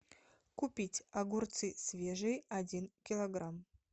купить огурцы свежие один килограмм